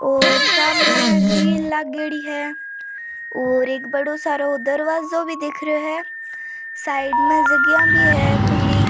और शामे गिरिल लागेड़ी है और एक बड़ो सारो दरवाजो भी दिख रो है साइड में जागिया भी है खुली।